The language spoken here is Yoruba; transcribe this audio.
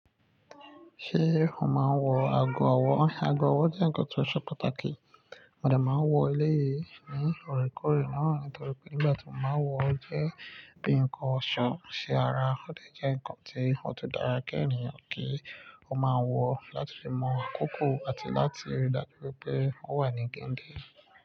Ṣé o máa ń wọ ago ọwọ́? Ago ọwọ́ jẹ́ àgọ́ tó ṣe pàtàkì. Òde máa ń wọ ilé yìí ní ọ̀rẹ́ kọ̀rẹ́ náà nítorí pé nígbà tí o máa ń wọ ọ, ó jẹ́ bí nǹkan ọ̀ṣọ́ ń ṣe ara. Ó lè jẹ́ ǹkan tí ó tó dára kí ènìyàn kí ó máa wọ láti fi mọ àkókò àti láti rí i dáru pé ó wà ní kíndì.